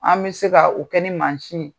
An mɛ se ka o kɛ ni ye.